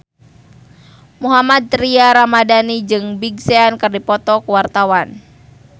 Mohammad Tria Ramadhani jeung Big Sean keur dipoto ku wartawan